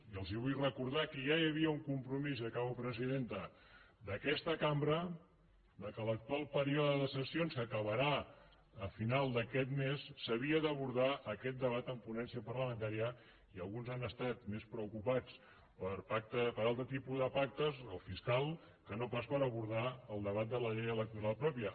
i els vull recordar que ja hi havia un compromís i acabo presidenta d’aquesta cambra que a l’actual període de sessions que acabarà a final d’aquest mes s’havia d’abordar aquest debat en ponència parlamentària i alguns han estat més preocupats per altres tipus de pactes el fiscal que no pas per abordar el debat de la llei electoral pròpia